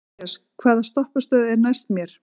Marías, hvaða stoppistöð er næst mér?